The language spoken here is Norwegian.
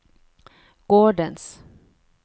gårdens